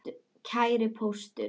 Kæri Póstur!